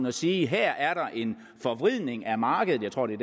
og sige her er der en forvridning af markedet jeg tror det